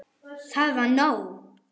Það var nóg.